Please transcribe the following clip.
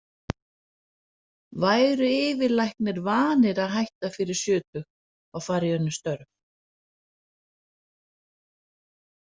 Væru yfirlæknar vanir að hætta fyrir sjötugt og fara í önnur störf?